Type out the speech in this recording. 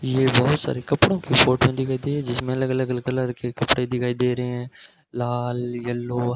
ये बहुत सारे कपड़ों की फोटो दिखाई दे जिसमें अलग अलग कलर के कपड़े दिखाई दे रहे हैं लाल येलो --